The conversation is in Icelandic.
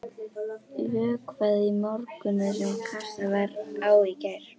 Vökvað í morgun það sem kastað var á í gær.